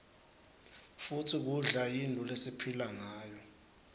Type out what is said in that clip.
futsi kudla yintfo lesiphila ngayo